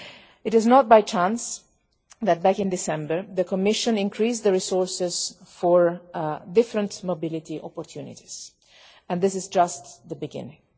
It was not by chance that, back in December, the Commission increased the resources for various mobility opportunities, and this is just the beginning.